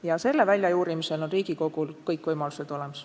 Ja selle väljajuurimiseks on Riigikogul kõik võimalused olemas.